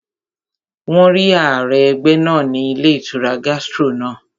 Wọ́n rí ààrẹ ẹgbẹ́ náà ní ilé ìtura Gastro náà